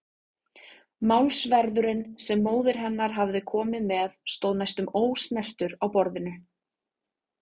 Málsverðurinn sem móðir hennar hafði komið með stóð næstum ósnertur á borðinu.